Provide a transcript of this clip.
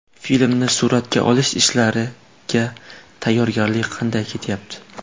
Filmni suratga olish ishlariga tayyorgarlik qanday ketyapti?